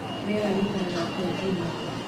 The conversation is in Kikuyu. rĩera rĩgaĩkara atĩa júmaa